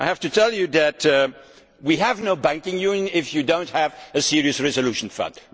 I have to tell you that we will have no banking union if we do not have a serious resolution fund